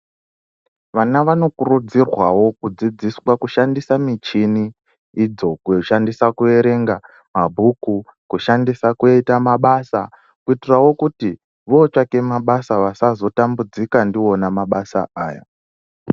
Vana vanokurudzirwawo kudzidziswa kushandisa michini idzo kushandisa kuverenga mabhuku, kushandisa kuita mabasa kuitirawo kuti votsvaka mabasa vasazotambudzika ndiwona mabasa aya.